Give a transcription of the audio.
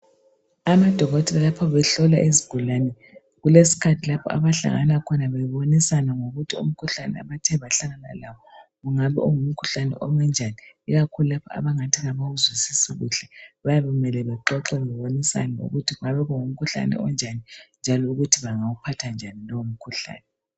Amadokotela lapha behlola izigulane, kulesikhathi lapha abahlangana khona bebonisana ngokuthi umkhuhlane abathe bahlangana lawo ungabe ungumkhuhlane ome njani. Ikakhulu lapha abangathi abawuzwisisi kuhle bayabe kumele baxoxe babonisane ukuthi ungabe ungumkhuhlane onjani njalo ukuthi bengawuphatha njani lowo mkhuhlane.